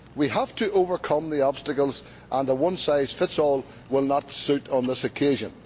We have to overcome the obstacles and a one size fits all approach will not suit on this occasion.